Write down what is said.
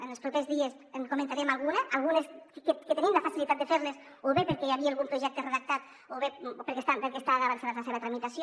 en els propers dies en comentarem algunes algunes que tenim la facilitat de fer·les o bé perquè hi havia algun projecte redactat o perquè està avançada la seva tramitació